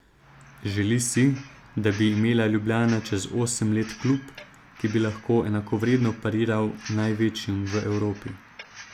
Želi si, da bi imela Ljubljana čez osem let klub, ki bi lahko enakovredno pariral največjim v Evropi.